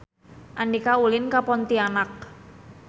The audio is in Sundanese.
Andika ulin ka Pontianak